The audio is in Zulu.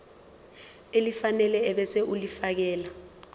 elifanele ebese ulifiakela